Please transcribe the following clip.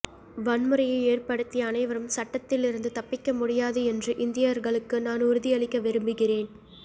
வன்முறையை ஏற்படுத்திய அனைவரும் சட்டத்திலிருந்து தப்பிக்க முடியாது என்று இந்தியர்களுக்கு நான் உறுதியளிக்க விரும்புகிறேன்